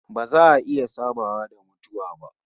Ba za a iya sabawa da mutuwa ba